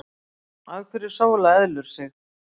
Af hverju sóla eðlur sig?